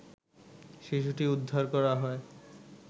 শিশুটিকে উদ্ধার করা হয়